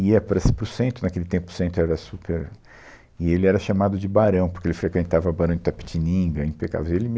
Ia para para o centro naquele tempo, o centro era super... E ele era chamado de barão, porque ele frequentava o barão de Itapetininga, impecável. E ele me